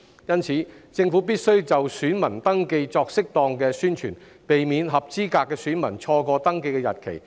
因此，政府必須就選民登記作適當的宣傳，避免合資格的選民錯過登記日期。